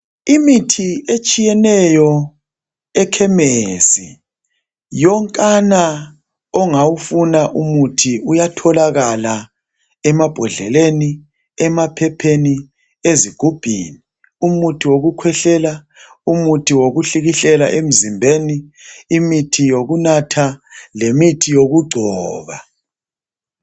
Imithi etshiyeneyo ekhemesi. Yonkana umuthi ongawufuna uyatholakala emabhodleleni, emaphepheni, ezigubhini. Umuthi wokukhwehlela, umuthi wokuhlikihlela emzimbeni, imithi yokunatha lemithi yokugcoba.